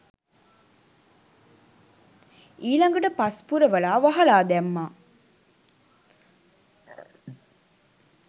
ඊළඟට පස් පුරවලා වහලා දැම්මා